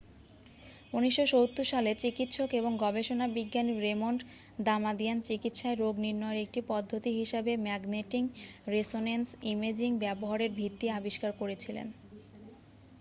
1970 সালে চিকিৎসক এবং গবেষণা বিজ্ঞানী রেমন্ড দামাদিয়ান চিকিৎসায় রোগ নির্ণয়ের একটি পদ্ধতি হিসাবে ম্যাগনেটিং রেসোনেন্স ইমেজিং ব্যবহারের ভিত্তি আবিষ্কার করেছিলেন